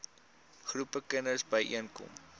groepe kinders byeenkom